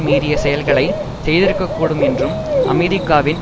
மீறிய செயல்களை செய்திருக்கக்கூடும் என்றும் அமெரிக்காவின்